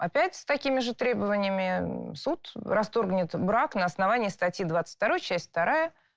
опять с такими же требованиями суд расторгнет брак на основании статьи двадцать второй часть вторая